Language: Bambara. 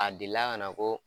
A delila kana ko